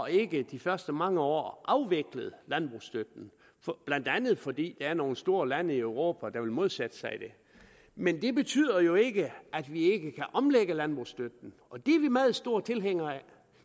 ikke de første mange år får afviklet landbrugsstøtten blandt andet fordi der er nogle store lande i europa der vil modsætte sig det men det betyder jo ikke at vi ikke kan omlægge landbrugsstøtten og det er vi meget store tilhængere af